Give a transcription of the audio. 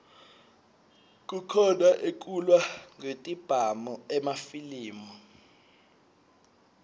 kukhona ekulwa ngetibhamu emafilimi